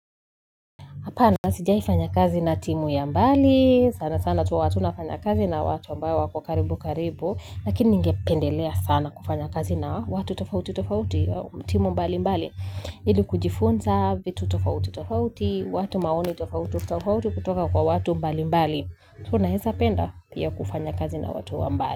Hapana, sijaifanya kazi na timu ya mbali, sana sana tu watu nafanya kazi na watu ambayo wako karibu karibu, lakini ningependelea sana kufanya kazi na watu tofauti tofauti, timu mbali mbali, ili kujifunza, vitu tofauti tofauti, watu maoni tofauti tofauti kutoka kwa watu mbali mbali, tunahesa penda pia kufanya kazi na watu mbali.